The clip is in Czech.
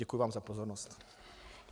Děkuji vám za pozornost.